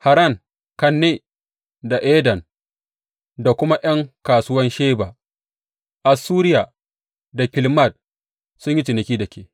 Haran, Kanne da Eden da kuma ’yan kasuwan Sheba, Assuriya da Kilmad sun yi ciniki da ke.